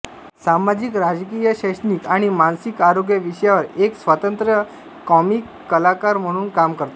सामाजिकराजकीय शैक्षणिक आणि मानसिक आरोग्य विषयावर एक स्वतंत्र कॉमिक कलाकार म्हणून काम करतात